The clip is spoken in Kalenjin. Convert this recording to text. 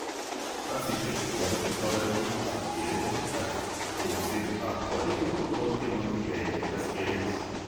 Glasisiek chewole, toretik ab kereet, ak eng'seet ab konyek kotot kemakyikee ketes kereet